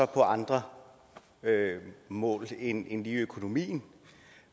på andre mål end lige økonomien